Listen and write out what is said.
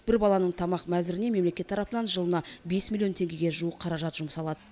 бір баланың тамақ мәзіріне мемлекет тарапынан жылына бес миллион теңгеге жуық қаражат жұмсалады